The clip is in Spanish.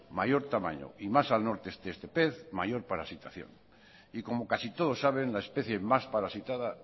mayor tamaño y más al norte esté este pez mayor parasitación y como casi todos saben la especie más parasitada